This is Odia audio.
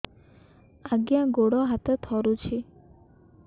ଆଜ୍ଞା ଗୋଡ଼ ହାତ ଥରୁଛି